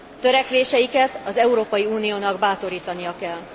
Törekvéseiket az Európai Uniónak bátorítania kell.